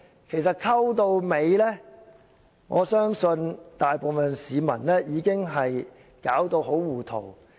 其實，混到最後，我相信大部分市民已經給弄到很糊塗。